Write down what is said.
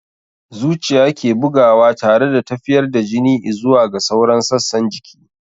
Zuciya ke bugawa tare da tafiyar da jini i'zuwa ga sauran sassan jiki.